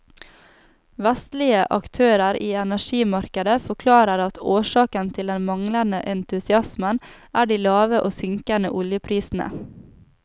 Vestlige aktører i energimarkedet forklarer at årsaken til den manglende entusiasmen er de lave og synkende oljeprisene.